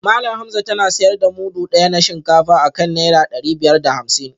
Malam Hamza tana sayar da mudu daya na shinkafa akan naira dari biyar da hamsin